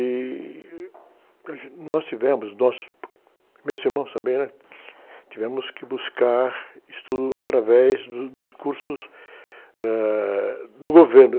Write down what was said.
E nós tivemos, nós, meus irmãos também, né? Tivemos que buscar estudo através do, dos cursos ãh, do governo.